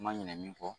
Ma ɲin fɔ